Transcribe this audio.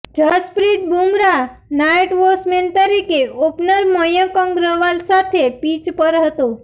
Jasprit Bumrah night watchman તરીકે opener Mayank Agarwal સાથે pitch પર હતો